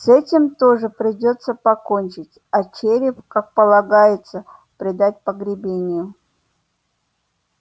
с этим тоже придётся покончить а череп как полагается предать погребению